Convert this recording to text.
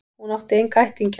Hún átti enga ættingja.